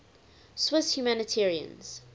swiss humanitarians